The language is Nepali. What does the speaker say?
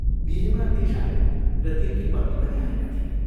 बिहेमा देशाई र तिनकी पत्नी पनि आएका थिए।